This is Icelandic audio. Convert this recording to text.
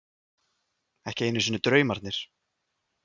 Ekki einu sinni draumarnir.